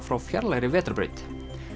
frá fjarlægri vetrarbraut